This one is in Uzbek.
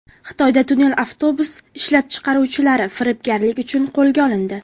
Xitoyda tunnel avtobus ishlab chiqaruvchilari firibgarlik uchun qo‘lga olindi.